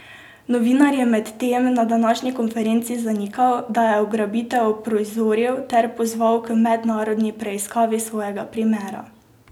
Novinar je medtem na današnji konferenci zanikal, da je ugrabitev uprizoril ter pozval k mednarodni preiskavi svojega primera.